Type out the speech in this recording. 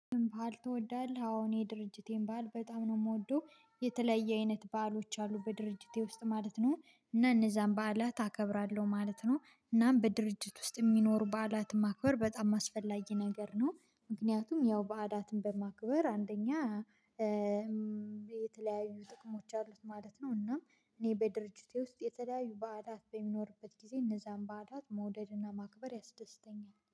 ባል ትወዳለህ አዎ የድርጅቴን ባል በጣም ነው የምወደው የተለየ አይነት ባሎች አሉ በድርጅቴ ውስጥ ማለት ነው። እነዛን በዓላት አከብራለሁ ማለት ነው። እናም በድርጅት ውስጥ የሚኖሩ በዓላት ማክበር በጣም አስፈላጊ ነገር ነው። ምክንያቱም ያው በላትን በማክበር አንደኛ የተለያዩ ጥቅሞች አሉት ማለት ነው። እናም እኔ በድርጅቴ ውስጥ የተለያዩ በላት በሚኖርበት ጊዜ እነዛን ባላት መውደድና ማክበር ያስደስተኛል